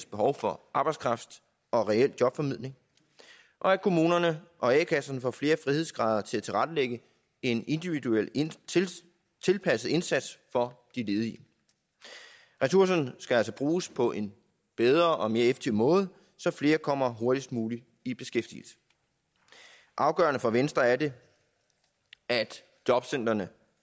behov for arbejdskraft og reel jobformidling og at kommunerne og a kasserne får flere frihedsgrader til at tilrettelægge en individuelt tilpasset indsats for de ledige ressourcerne skal altså bruges på en bedre og mere effektiv måde så flere kommer hurtigst muligt i beskæftigelse afgørende for venstre er det at jobcentrene